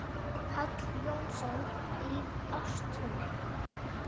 Páll Jónsson í Ástúni